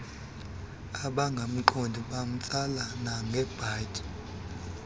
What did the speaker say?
ababengamqondi bamtsala nangebhatyi